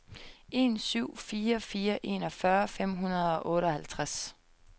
en syv fire fire enogfyrre fem hundrede og otteoghalvtreds